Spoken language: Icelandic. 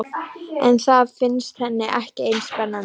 En það finnst henni ekki eins spennandi.